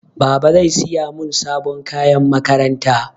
Baba zai siya mun sabon kayan makaranta.